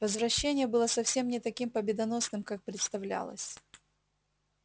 возвращение было совсем не таким победоносным как представлялось